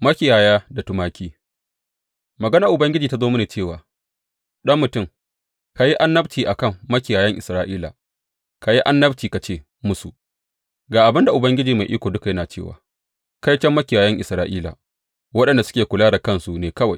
Makiyaya da tumaki Maganar Ubangiji ta zo mini cewa, Ɗan mutum, ka yi annabci a kan makiyayan Isra’ila; ka yi annabci ka ce musu, Ga abin da Ubangiji Mai Iko Duka yana cewa kaiton makiyayan Isra’ila waɗanda suke kula da kansu ne kawai!